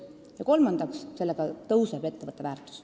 Ja kolmandaks, sellega kasvab ettevõtte väärtus.